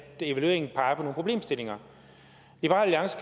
evalueringen peger